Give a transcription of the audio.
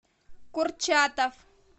курчатов